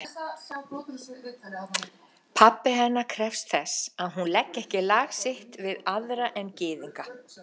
Pabbi hennar krefst þess, að hún leggi ekki lag sitt við aðra en gyðinga.